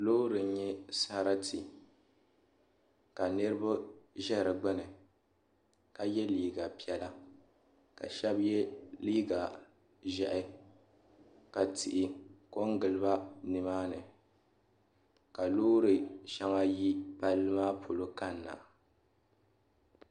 Loori n nyɛ sarati ka niriba zɛ di gbuni ka ye liiga piɛlla ka shɛba ye liiga zɛhi ka tihi ko n gili ba ni maa ni ka loori shɛŋa yi palli maa polo kani na.